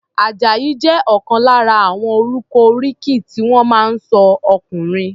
Àjàyí jẹ́ ọ̀kan lára àwọn orúkọ oríkì tí wọ́n máa ń sọ ọkùnrin.